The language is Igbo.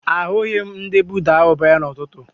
Ahụghị m ndị Buda ahụ bịara n'ụtụtụ